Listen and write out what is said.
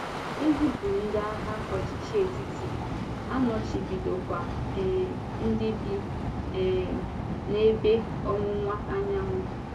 E zịpụrụ ndị agha ọchịchị etiti, a nọchibidokwa um ndị bi um n’Ébe Ọwụwa Anyanwụ.